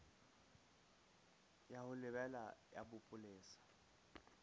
ya ho lebela ya bopolesa